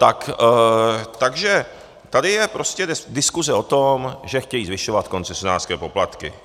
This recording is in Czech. Takže tady je prostě diskuse o tom, že chtějí zvyšovat koncesionářské poplatky.